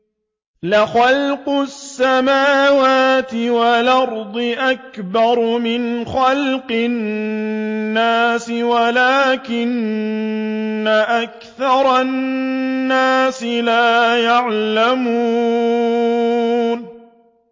لَخَلْقُ السَّمَاوَاتِ وَالْأَرْضِ أَكْبَرُ مِنْ خَلْقِ النَّاسِ وَلَٰكِنَّ أَكْثَرَ النَّاسِ لَا يَعْلَمُونَ